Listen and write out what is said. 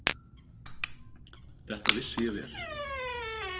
Þetta vissi ég vel.